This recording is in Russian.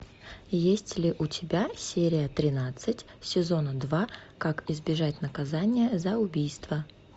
есть ли у тебя серия тринадцать сезона два как избежать наказания за убийство